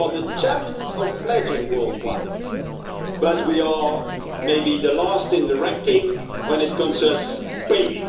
We are the champions of pledging worldwide, but we are maybe the last in the ranking when it comes to paying.